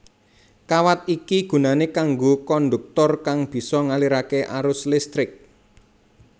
Kawat iki gunané kanggo kondhuktor kang bisa ngaliraké arus listrik